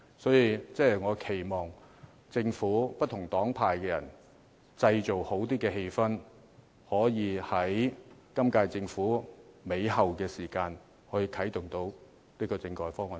所以，我期望政府和不同黨派的人能製造較好的氣氛，可在本屆政府後期啟動政改方案。